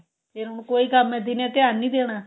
ਇਹ ਹੁਣ ਕੋਈ ਕੰਮ ਏ ਦਿਨੇ ਧਿਆਨ ਨੀ ਦੇਣਾ